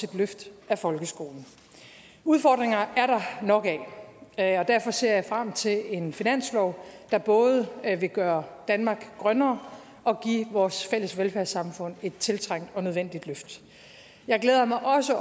løft af folkeskolen udfordringer er der nok af og derfor ser jeg frem til en finanslov der både vil gøre danmark grønnere og give vores fælles velfærdssamfund et tiltrængt og nødvendigt løft jeg glæder mig også